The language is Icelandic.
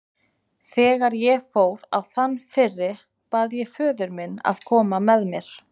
Þegar ég fór á þann fyrri bað ég föður minn að koma með mér.